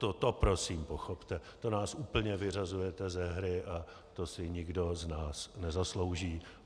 To prosím pochopte, to nás úplně vyřazujete ze hry a to si nikdo z nás nezaslouží.